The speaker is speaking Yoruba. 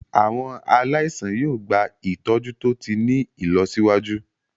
Àwọn aláìsàn yóò gba ìtọ́jú tó ti ní ìlọsíwájú.